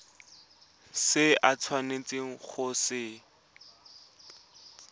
se o tshwanetseng go se